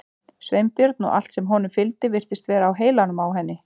Sveinbjörn og allt sem honum fylgdi virtist vera á heilanum á henni.